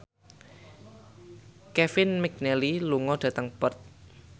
Kevin McNally lunga dhateng Perth